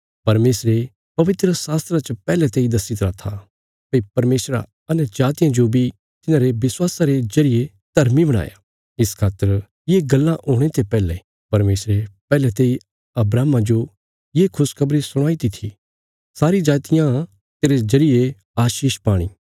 परमेशरे पवित्रशास्त्रा च पैहले तेई दस्सी तरा था भई परमेशरा अन्यजातियां जो बी तिन्हांरे विश्वासा रे जरिये धर्मी बनाणा इस खातर ये गल्लां हुणे ते पैहले परमेशरे पैहले तेई अब्राहमा जो ये खुशखबरी सुणाईती थी सारी जातियां तेरे जरिये आशीष पाणी